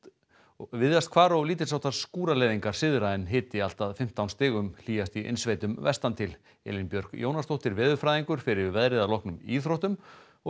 víðast hvar og lítils háttar skúraleiðingar syðra en hiti allt að fimmtán stigum hlýjast í innsveitum vestan til Elín Björk Jónasdóttir veðurfræðingur fer yfir veðrið að loknum íþróttum og